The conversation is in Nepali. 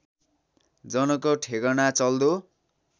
जनको ठेगाना चल्दो